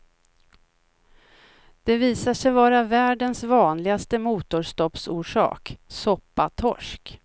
Det visar sig vara världens vanligaste motorstoppsorsak, soppatorsk.